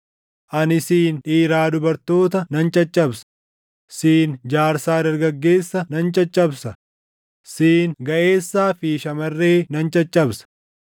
ani siin dhiiraa dubartoota nan caccabsa; siin jaarsaa dargaggeessa nan caccabsa; siin gaʼeessaa fi shamarree nan caccabsa;